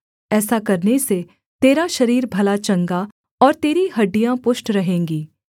ऐसा करने से तेरा शरीर भला चंगा और तेरी हड्डियाँ पुष्ट रहेंगी